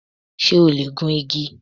Ṣé o lè gun igi?